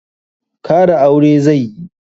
Kara aure zai yi.